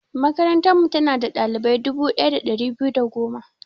Makarantarmu, tana da ɗalibai dubu ɗaya da ɗari biyu da goma.